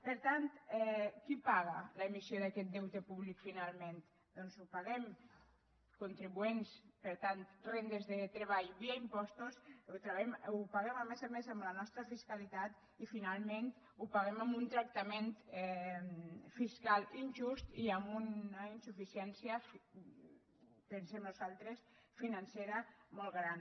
per tant qui paga l’emissió d’aquest deute públic finalment doncs la paguem contribuents per tant rendes de treball via impostos la paguem a més a més amb la nostra fiscalitat i finalment la paguem amb un tractament fiscal injust i amb una insuficiència pensem nosaltres financera molt gran